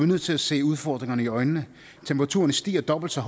nødt til at se udfordringerne i øjnene temperaturen stiger dobbelt så